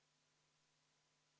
Poolt 11, vastu 52, erapooletuid 0.